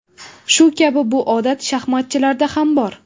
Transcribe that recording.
Shu kabi bu odat shaxmatchilarda ham bor.